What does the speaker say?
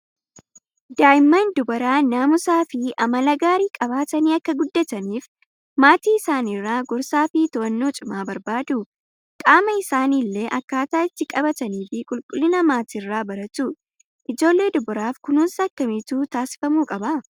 Daa'imman dubaraa naamusaa fi amala gaarii qabatanii akka guddataniif maatii isaaniirraa gorsaa fi ta'annoo cimaa barbaadu. Qaama isaanii illee akkaataa itti qabatanii fi qulqullina maatiirraa baratu. Ijoollee dubaraaf kunuunsa akkamiitu taasifamuu qabaa/